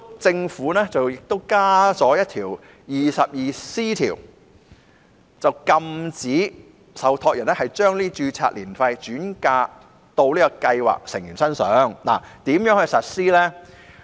政府建議新訂第 22C 條，禁止受託人把註冊年費轉嫁予計劃成員，但怎樣執行呢？